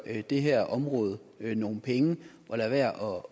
det her område nogle penge og lade være